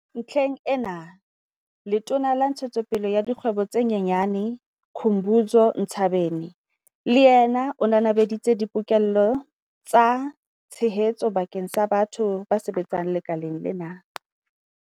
Ntlheng ena, Letona la Ntshetsopele ya Dikgwebo tse Nyenyane Khumbudzo Ntshavheni le yena o nanabeditse dipoke-llo tsa tshehetso bakeng sa batho ba sebetsang lekaleng lena.